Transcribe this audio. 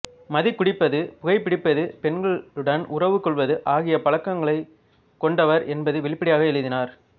மது குடிப்பது புகைப் பிடிப்பது பெண்களுடன் உறவுக் கொள்வது ஆகிய பழக்கங்களைக் கொண்டவர் என்பதை வெளிப்படையாக எழுதினார்